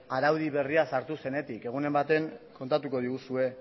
araudi berria sartu zenetik egunen batean kontatuko diguzue